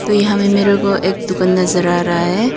तो यहां पर मेरे को एक दुकान नजर आ रहा है।